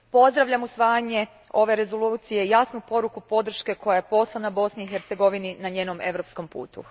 Pozdravljam usvajanje rezolucije i jasnu poruku podrške koja je poslana Bosni i Hercegovini na njenom europskom putu.